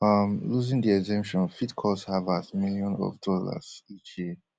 um losing di exemption fit cost harvard millions of dollars each year